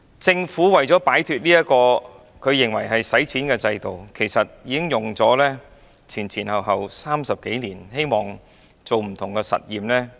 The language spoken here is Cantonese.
政府為了擺脫這個它認為是費錢的制度，前後用了30多年時間進行不同的實驗。